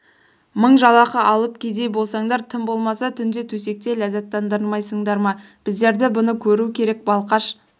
мың жалақы алып кедей болсаңдар тым болмаса түнде төсекте ләззаттандырмайсыңдар ма біздерді бұны көру керек балқаш